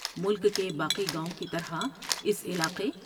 ملک کے باقی گاؤں کی طرح اس علاقے